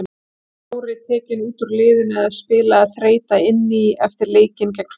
Var Kári tekinn út úr liðinu eða spilaði þreyta inn í eftir leikinn gegn Finnum?